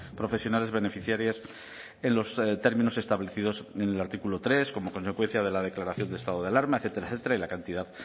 profesionales beneficiarias en los términos establecidos en el artículo tres como consecuencia de la declaración de estado de alarma etcétera etcétera y la cantidad